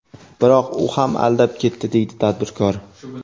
Biroq u ham aldab ketdi, deydi tadbirkor.